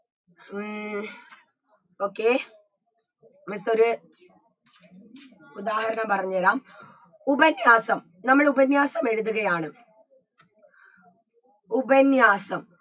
ഉം okay miss ഒരു ഉദാഹരണം പറഞ്ഞെരാം ഉപന്യാസം നമ്മൾ ഉപന്യാസം എഴുതുകയാണ് ഉപന്യാസം